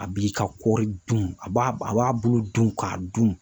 A b'i ka kɔɔri dun , a b'a a b'a bulu dun k'a dun.